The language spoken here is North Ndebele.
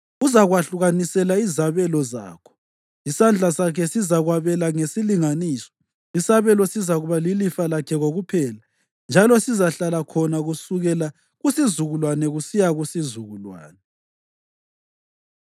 Uzakwahlukanisela izabelo zakho; isandla sakhe sizakwabela ngesilinganiso. Isabelo sizakuba lilifa lakho kokuphela, njalo sizahlala khona kusukela kusizukulwane kusiya kusizukulwane.